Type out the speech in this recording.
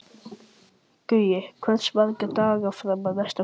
Það gæti því dregist að ég kæmist utan, því miður.